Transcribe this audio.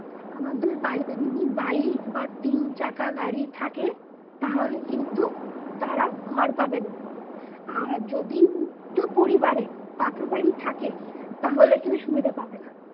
আবার ধর বাড়িতে যদি bike বা তিন চাকা গাড়ি থাকে তাহলে কিন্তু তারা ঘর পাবেনা আর যদি পাকা বাড়ি থাকে তাহলে কিন্তু সুবিধা পাবে না